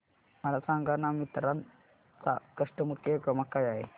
मला सांगाना मिंत्रा चा कस्टमर केअर क्रमांक काय आहे